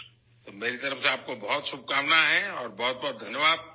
تو میں آپ کو نیک خواہشات پیش کرتا ہوں اور آپ کا بہت بہت شکریہ